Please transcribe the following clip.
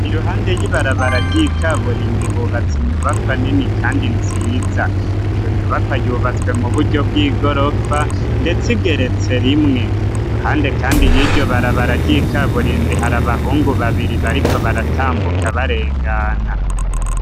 iruhande y'ibarabara ryi kaburimbi hubatse inyubakwa nini kandi nziza iyo nyubakwa yubatswe mu buryo bw'igorofa ndetse igeretse rimwe iruhande kandi y'iryo barabara ryi kaburimbi hari abahungu babiri bariko baratambuka barengana